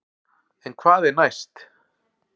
En hvað er næst?